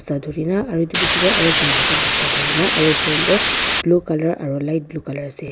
aru etu picche teh aru ekta mota basta thori na aru train tu blue colour aru light blue colour ase.